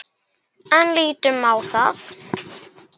En lítum á.